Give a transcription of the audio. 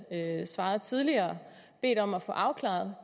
svarede tidligere bedt om at få afklaret